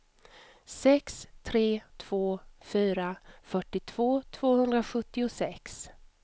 sex tre två fyra fyrtiotvå tvåhundrasjuttiosex